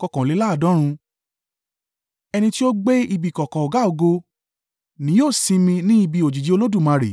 Ẹni tí ó gbé ibi ìkọ̀kọ̀ Ọ̀gá-ògo ni yóò sinmi ní ibi òjìji Olódùmarè.